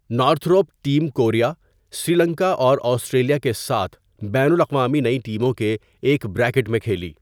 Northrop team Korea, Sri Lanka اور Australia کے ساتھ بین الاقوامی نئی ٹیموں کے ایک بریکٹ میں کھیلی۔